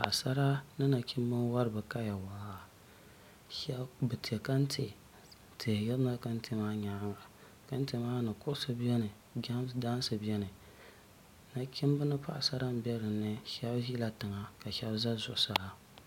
Paɣasara ni nachimba n wari bɛ kaya waa sheba bɛ te kante tihi yirina kante maa nyaaga kante maa ni kuɣusi beni jams dansi beni nachimba mini paɣasara m be dini shebi ʒi la tiŋa ka shebi za zuɣusaa